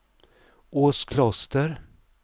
Åskloster